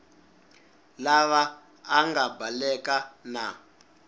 lava a nga baleka na